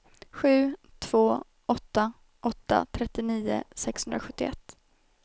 sju två åtta åtta trettionio sexhundrasjuttioett